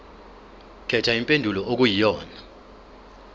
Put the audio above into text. khetha impendulo okuyiyona